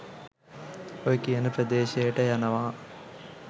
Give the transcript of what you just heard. ඔය කියන ප්‍රදේශයට යනවා